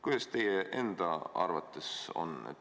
Kuidas teie enda arvates on?